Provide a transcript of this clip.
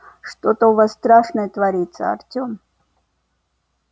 что-то у вас страшное творится артём